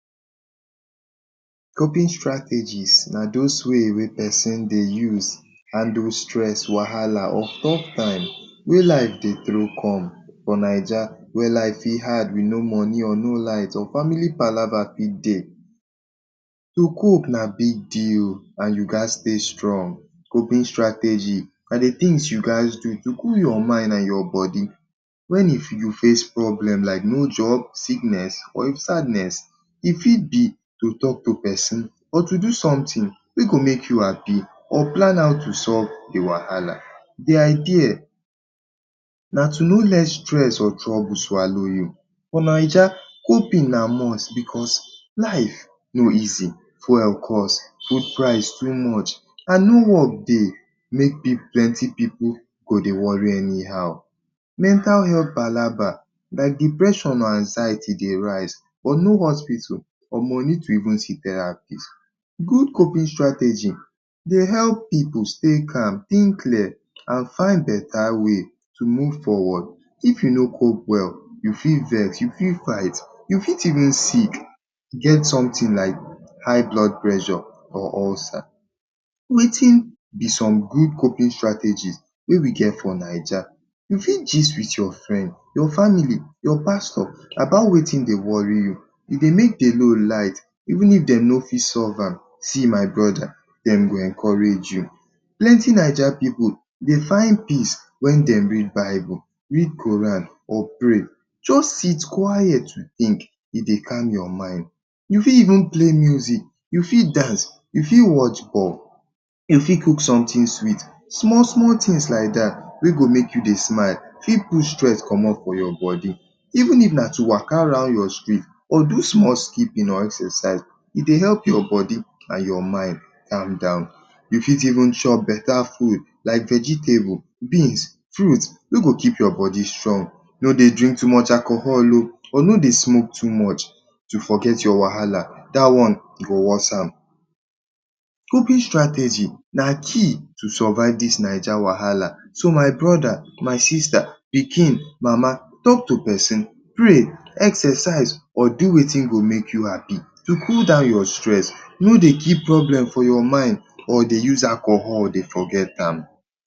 Coping strategies na those ways wey pesin dey use handle stress, wahala or tough time wey life dey throw come. For Naija, wey life fit hard with no money or no light, or family kpalagba fit dey, um to cope na big deal and you gats stay strong. Coping strategy na the things wey you go do to cool your mind and your body when you face problem like no job, sickness, or sadness. E fit be say to talk to pesin, or do something wey go make you happy, or plan how to solve the wahala. The idea nah to no let stress or trouble swallow you. For Naija, coping na must, because life no easy, fuel cost, food price too much, and no work dey. make plenty pipu go dey worry anyhow. Mental health kpalagba like depression and anxiety dey rise, but no hospital, or money to even see therapist. But good coping strategy dey help pippu stay calm, think clear, and find better way to move forward. If you no cope well, you fit vex, you fit fight, you fit even sick. get something like high blood pressure or ulcer. Wetin be some good coping strategies wey we get for Naija? You fit gist with your friend, your family, your pastor about wetin dey worry you. E dey make the load lite even if dem no fit solve am. See my brother! Dem go encourage you. Plenty Naija pipu, dey find peace when dem read Bible, read Qur’an, or pray. just sit quiet think, e dey calm your mind. You fit even play music, you fit dance, you fit watch ball, you fit cook something sweet. Small small things like dat wey go make you smile fit push stress comot from your body. Even na to waka round your street, or do small skipping or exercise e dey help your body and ur mind calm down. You fit even chop beta food like vegetable, beans, fruit, wey go keep your body strong. No dey drink too much alcohol oh! Or no dey smoke too much to forget your wahala dat one e go worse am. Coping strategy na key to survive this Naija wahala. So, my brother, my sister, pikin, mama talk to pesin, pray, exercise, or do wetin go make you happy to cool down your stress. No dey keep problem for your mind, or dey use alcohol dey forget am.